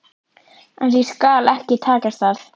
En því skal ekki takast það.